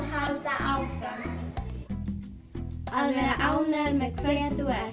halda áfram að vera ánægður með hver þú ert